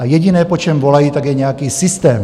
A jediné, po čem volají, tak je nějaký systém.